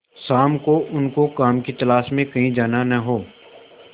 शाम को उनको काम की तलाश में कहीं जाना न हो